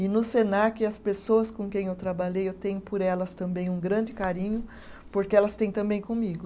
E no Senac, as pessoas com quem eu trabalhei, eu tenho por elas também um grande carinho, porque elas têm também comigo.